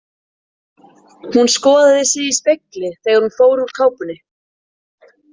Hún skoðaði sig í spegli þegar hún fór úr kápunni.